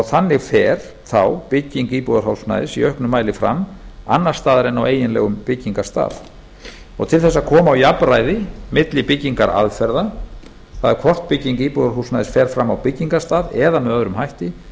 þannig fer þá bygging íbúðarhúsnæðis í auknum mæli fram annars staðar en á eiginlegum byggingarstað til að koma á jafnræði milli byggingaraðferða það er hvort bygging íbúðarhúsnæðis fer fram á byggingarstað eða með öðrum hætti